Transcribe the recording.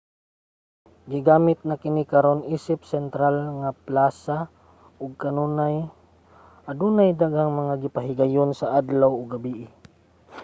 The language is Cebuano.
ginagamit na kini karon isip sentral nga plasa ug kanunay adunay daghang mga gipahigayon sa adlaw ug gabii